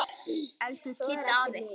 Elsku Kiddi afi.